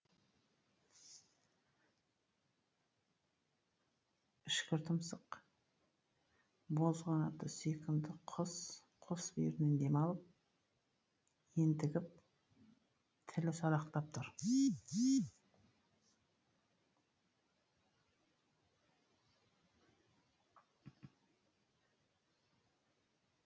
үшкір тұмсық боз қанатты сүйкімді құс қос бүйірінен дем алып ентігіп тілі салақтап тұр